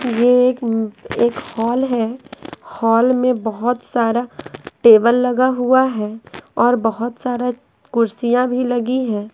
यह एकएक हॉल है हॉल में बहुत सारा टेबल लगा हुआ है और बहुत सारा कुर्सिया भी लगी है ।